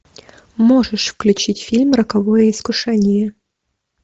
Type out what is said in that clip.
можешь включить фильм роковое искушение